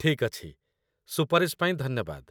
ଠିକ୍ ଅଛି, ସୁପାରିଶ ପାଇଁ ଧନ୍ୟବାଦ